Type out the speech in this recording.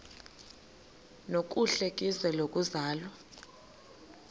nokuhle kwizwe lokuzalwa